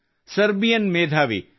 Serbian ಮೇಧಾವಿ ಡಾ